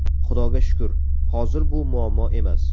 Xudoga shukur, hozir bu muammo emas.